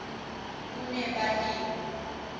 kunebalimi